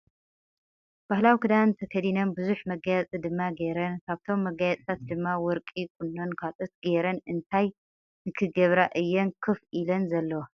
ባህላዊ ክዳን ተከዲነን ብዙሕ መጋየፂ ድማ ገይረን ። ካብቶም መጋየፅታት ድማ ወርቂ ፣ቁኖን ካልኦት ገይረን ። እንታይ ንክገብራ እየን ከፍ ኢለን ዘለዋ ?